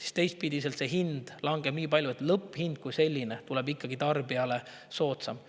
Aga teistpidi langeb hind nii palju, et lõpphind kui selline tuleb tarbijale ikkagi soodsam.